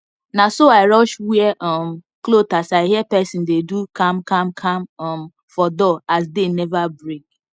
naso i rush wear um cloth as i hear pesin dey do kamkamkam um for door as day neva break